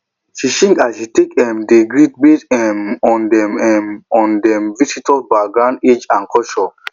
she change as she take um dey greet base um on dem um on dem visitor backgroundage and culture